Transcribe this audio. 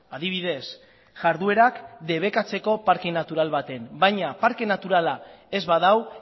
adibidez jarduerak debekatzeko parke natural baten baina parke naturala ez badu